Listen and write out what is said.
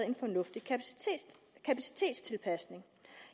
en fornuftig kapacitetstilpasning